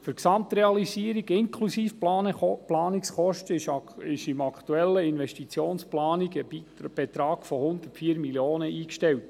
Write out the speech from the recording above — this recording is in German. Für die Gesamtrealisierung inklusive Planungskosten ist in der aktuellen Investitionsplanung ein Betrag von 104 Mio. Franken eingestellt.